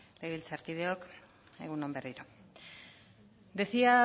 legebiltzarkideok egun on berriro decía